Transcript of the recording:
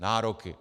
Nároky.